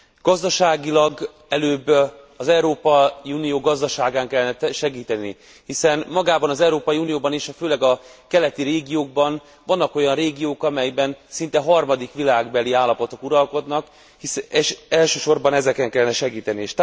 Gazdaságilag előbb az Európai Unió gazdaságán kellene segíteni, hiszen magában az Európai Unióban is, főleg a keleti régiókban, vannak olyan régiók, amelyekben szinte harmadik világbeli állapotok uralkodnak, és elsősorban ezeken kellene segíteni.